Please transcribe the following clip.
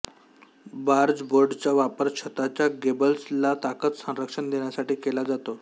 बार्जबोर्डचा वापर छताच्या गेबल्सला ताकद संरक्षण देण्यासाठी केला जातो